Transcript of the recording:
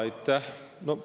Aitäh!